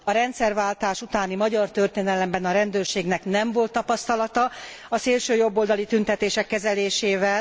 A rendszerváltás utáni magyar történelemben a rendőrségnek nem volt tapasztalata a szélsőjobboldali tüntetések kezelésével.